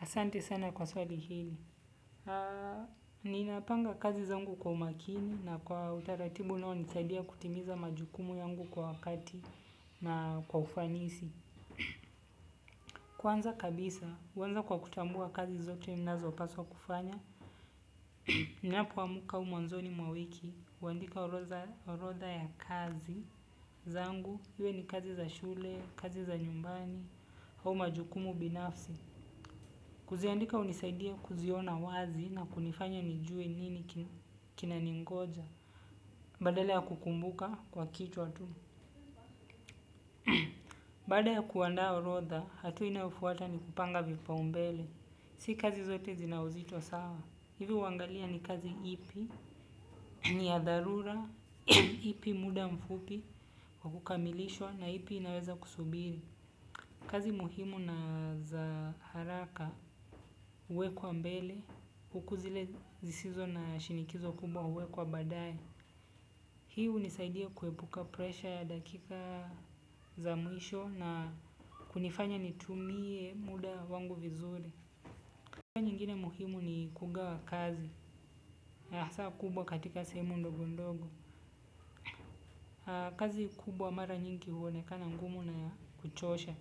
Asante sana kwa swali hili. Ninapanga kazi zangu kwa umakini na kwa utaratibu unao nisaidia kutimiza majukumu yangu kwa wakati na kwa ufanisi. Kwanza kabisa, huanza kwa kutambua kazi zote ninazo paswa kufanya. Ninapoamka au mwanzoni mwa wiki huandika orodha ya kazi zangu iwe ni kazi za shule, kazi za nyumbani, au majukumu binafsi. Kuziandika hunisaidia kuziona wazi na kunifanya nijue nini kina ningoja. Badala ya kukumbuka kwa kichwatu. Baada ya kuandaa orodha, hatua inayofuata ni kupanga vipa umbele. Si kazi zote zinauzito sawa. Hivi huangalia ni kazi ipi, ni ya dharura, ipi muda mfupi, kwakukamilishwa na ipi inaweza kusubiri. Kazi muhimu na za haraka huwekwa mbele, hukuzile zisizo na shinikizo kubwa huwekwa baadaye. Hii hunisaidia kuepuka presha ya dakika za mwisho na kunifanya nitumie muda wangu vizuri. Kwa nyingine muhimu ni kugawa kazi, ya hasa kubwa katika sehemu ndogo ndogo. Kazi kubwa mara nyingi huonekana ngumu naya kuchosha,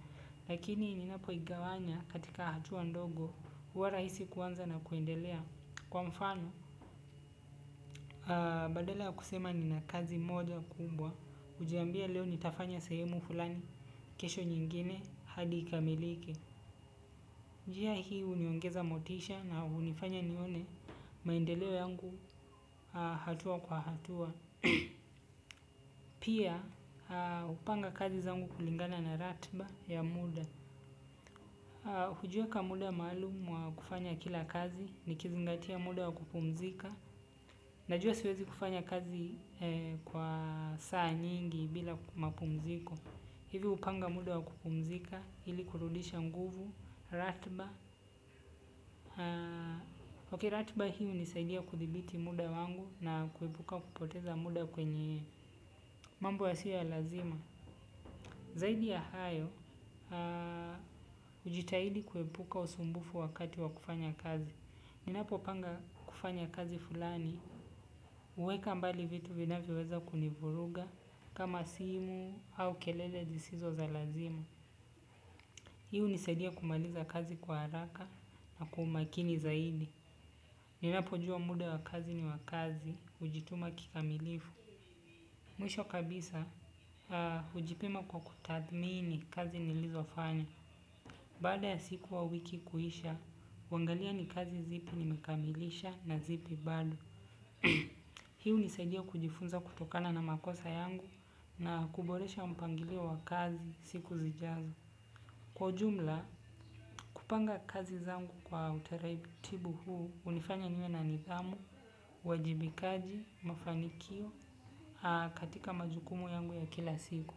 lakini ninapo igawanya katika hatua ndogo huwa rahisi kuanza na kuendelea. Kwa mfano, badalaya kusema ni na kazi moja kubwa. Hujiambia leo nitafanya sehemu fulani, kesho nyingine hadi ikamilike. Njia hii huniongeza motisha na hunifanya nione maendeleo yangu hatua kwa hatua. Pia hupanga kazi zangu kulingana na ratiba ya muda. Hujua ka muda maalumu wa kufanya kila kazi ni kizingatia muda wa kupumzika. Najua siwezi kufanya kazi kwa saa nyingi bila mapumziko. Hivyo hupanga muda wa kupumzika ili kurudisha nguvu, ratiba Ok ratiba hiihu nisaidia kuthibiti muda wangu na kuepuka kupoteza muda kwenye mambo ya siyoya lazima. Zaidi ya hayo, hujitahidi kuepuka usumbufu wakati wa kufanya kazi. Ninapo panga kufanya kazi fulani, huweka mbali vitu vinavyo weza kunivuruga kama simu au kelele zisizo za lazima. Hiihu nisaidia kumaliza kazi kwa haraka na kwaumakini zaidi. Ninapo jua muda wa kazi ni wa kazi, hujituma kikamilifu. Mwisho kabisa, hujipima kwa kutathmini kazi nilizo fanya. Baada ya siku au wiki kuisha, huangalia ni kazi zipi nimekamilisha na zipi bado. Hii hunisaidia kujifunza kutokana na makosa yangu na kuboresha mpangilio wa kazi siku zijazo. Kwa ujumla, kupanga kazi zangu kwa utaratibu huu hunifanya niwe na nidhamu, uwajibikaji, mafanikio, katika majukumu yangu ya kila siku.